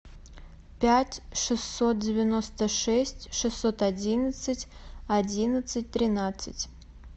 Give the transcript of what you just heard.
пять шестьсот девяносто шесть шестьсот одиннадцать одиннадцать тринадцать